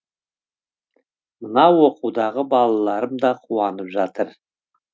мына оқудағы балаларым да қуанып жатыр